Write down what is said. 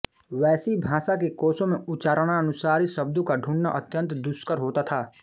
वैसी भाषा के कोशों में उच्चारणानुसारी शब्दों का ढूँढना अत्यंत दुष्कर होता था